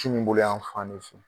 Kininboloyan fan ne fɛ